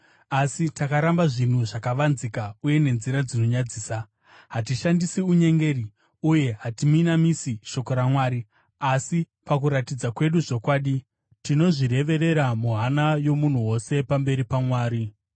Asi takaramba zvinhu zvakavanzika uye nenzira dzinonyadzisa; hatishandisi unyengeri, uye hatiminamisi shoko raMwari. Asi pakuratidza kwedu zvokwadi, tinozvireverera muhana yomunhu wose pamberi paMwari.